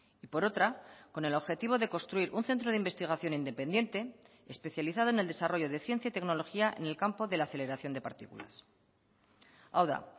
y por otra con el objetivo de construir un centro de investigación independiente especializado en el desarrollo de ciencia y tecnología en el campo de la aceleración de partículas hau da